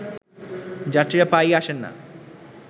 যাত্রীরা প্রায়ই আসে না